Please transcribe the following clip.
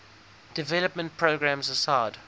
development programs aside